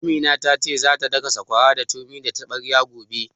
Amina ta ce za ta daka sakwara da turmi da taɓarya gobe